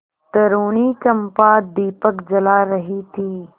तरूणी चंपा दीपक जला रही थी